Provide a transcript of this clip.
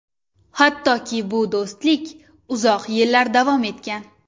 Hattoki bu do‘stlik uzoq yillar davom etgan.